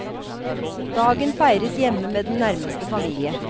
Dagen feires hjemme med den nærmeste familie.